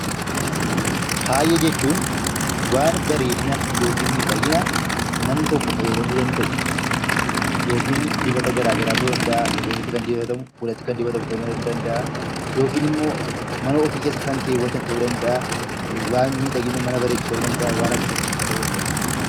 Faaya jechuun waan bareedinaa yookaan miidhaginaa namni tokko fayyadamu danda'u yookiin dibata gara garaa ta'uu danda'a rifeensatti kan dibatan ta'uu danda'a. Fuulatti kan dibatamu ta'uu danda'a. Yookinimmoo mana ofii keessa kan kaawaatan ta'uu danda'a waan miidhagina mana bareechu ta'uu danda'aa. Waan akkasiifaa ta'uu danda'a